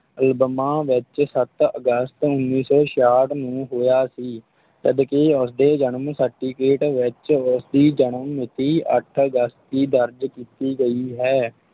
ਅਲਬਮਾ ਵਿੱਚ ਸੱਤ ਅਗਸਤ ਉੱਨੀ ਸੌ ਛਿਆਹਠ ਨੂੰ ਹੋਇਆ ਸੀ, ਜਦਕਿ ਉਸਦੇ ਜਨਮ certificate ਵਿੱਚ ਉਸ ਦੀ ਜਨਮ ਮਿਤੀ ਅੱਠ ਅਗਸਤ ਦੀ ਦਰਜ ਕੀਤੀ ਗਈ ਹੈ,